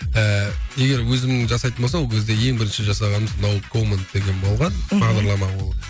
ііі егер өзімнің жасайтын болса ол кезде ең бірінші жасағанымыз ноу комент деген болған мхм бағдарлама ол